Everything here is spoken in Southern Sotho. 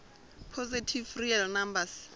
positive real numbers